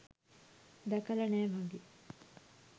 දැකලා නෑ වගේ.